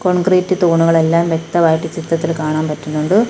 Concrete തൂണുകളെല്ലാം വ്യക്തമായിട്ട് ചിത്രത്തിൽ കാണാൻ പറ്റുന്നുണ്ട്.